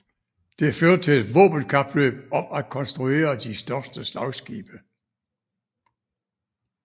Det førte til et våbenkapløb om at konstruere de største slagskibe